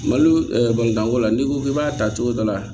Malo ko la n'i ko k'i b'a ta cogo dɔ la